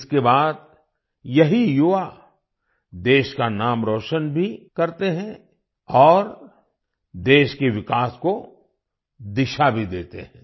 इसके बाद यही युवा देश का नाम रौशन भी करते हैं और देश के विकास को दिशा भी देते हैं